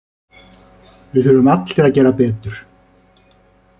Við þurfum allir að gera betur.